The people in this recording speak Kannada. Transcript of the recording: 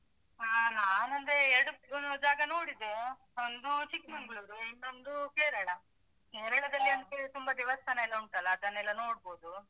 ಹಾ ನಾನಂದ್ರೆ ಎರಡು ಅಹ್ ಜಾಗ ನೋಡಿದೆ ಒಂದು ಚಿಕ್ಮಂಗ್ಳೂರು ಇನ್ನೊಂದು ಕೇರಳ. ಕೇರಳದಲ್ಲಿ ಅಂತ ಹೇಳಿದ್ರೆ ತುಂಬಾ ದೇವಸ್ಥಾನ ಎಲ್ಲ ಉಂಟಲ್ಲಾ, ಅದನ್ನೆಲ್ಲಾ ನೋಡ್ಬೋದು.